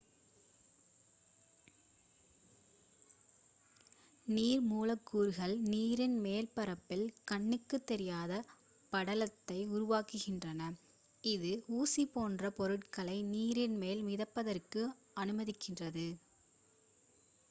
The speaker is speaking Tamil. நீர் மூலக்கூறுகள் நீரின் மேற்பரப்பில் கண்ணுக்குத் தெரியாத படலத்தை உருவாக்குகின்றன இது ஊசி போன்ற பொருட்களை நீரின் மேல் மிதப்பதற்கு அனுமதிக்கிறது